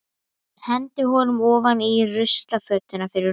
Hendi honum ofan í ruslafötuna við rúmið mitt.